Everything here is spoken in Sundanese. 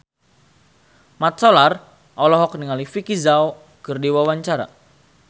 Mat Solar olohok ningali Vicki Zao keur diwawancara